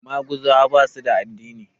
Maguzawa ba su da addini